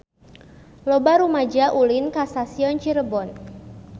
Loba rumaja ulin ka Stasiun Cirebon